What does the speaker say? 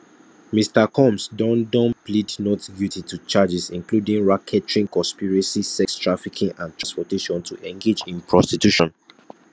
mr combs don don plead not guilty to charges including racketeering conspiracy sex trafficking and transportation to engage in prostitution